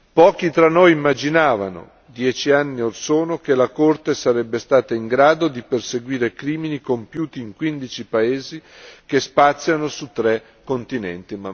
Pochi tra noi immaginavano, dieci anni orsono, che la Corte sarebbe stata in grado di perseguire crimini compiuti in quindici paesi che spaziano su tre continenti.